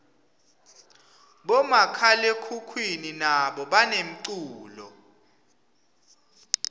bomakhalekhukhwini nabo banemculo